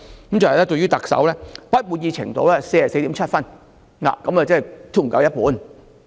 當中，對特首的滿意度是 44.7 分，即低於一半。